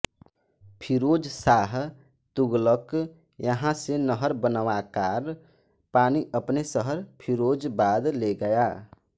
फिरोज शाह तुगलक यहां से नहर बनवाकार पानी अपने शहर फिरोजबाद ले गया